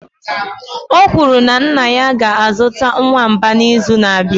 o kwuru na nna ya ga-azụta nwamba n'izu na-abịa